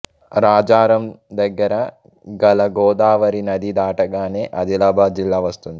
రాజారం దగ్గర గల గోదావరి నది దాటగానే ఆదిలాబాద్ జిల్లా వస్తుంది